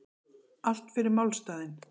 Allt fyrir málstaðinn